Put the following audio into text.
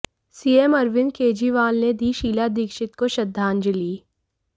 CM Arvind Kejriwal ने दी शीला दीक्षित को श्रद्धांजलि